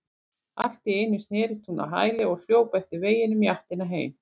Allt í einu snerist hún á hæli og hljóp eftir veginum í áttina heim.